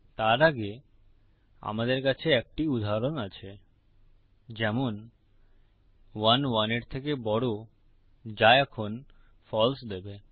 তার আগে আমাদের কাছে একটি উদাহরণ আছে যেমন ১ ১ এর থেকে বড় যা এখন ফালসে দেবে